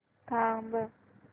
थांब